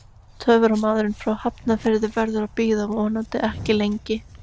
Töframaðurinn frá Hafnarfirði verður að bíða, vonandi ekki lengi.